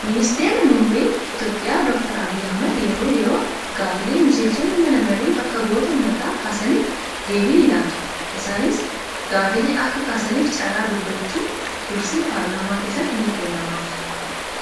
Ministeerri muummee Itoophiyaa doktar Abiyyi Ahmad yeroo yeroon gaaffilee miseensonni mana marii bakka bu'oota uummataa kaasaniif deebii ni laatu. Isaanis gaaffilee akka kaasaniif carraan dubbachuu dursee paarlaamaa keessatti ni kennamaaf.